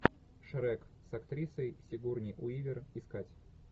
шрек с актрисой сигурни уивер искать